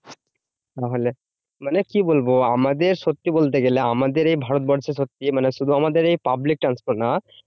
তাহলে? মানে কি বলবো? আমাদের সত্যি বলতে গেলে, আমাদের এই ভারতবর্ষে সত্যি মানে শুধু আমাদের এই public transport না